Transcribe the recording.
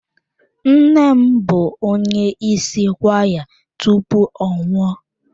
Nne m bụ onye isi kwaya tupu ọ nwụọ.